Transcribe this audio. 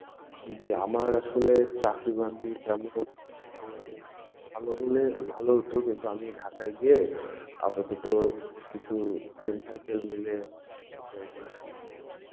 গিয়ে আমার আসলে চাকরি বাকরির তেমন ভালো হলে ভালো হত, কিন্তু আমি ঢাকায় গিয়ে আপাতত, কিছু, friend circle মিলে হয়তো,